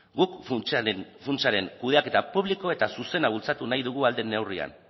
guk funtsaren kudeaketa publiko eta zuzena bultzatu nahi dugu ahal den neurrian